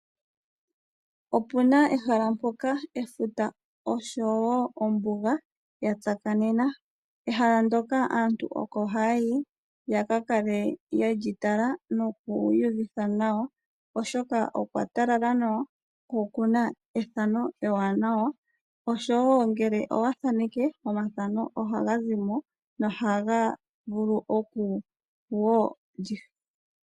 Opuna ehala mpoka efuta oshowo ombuga ya tsakanena. Ehala ndyoka aantu oko hayayi ya ka kale yeli tala noku iyuvitha nawa, oshoka okwatalala nawa ko okuna ethano ewanawa oshowo ngele owathaneke omathano ohaga zimo.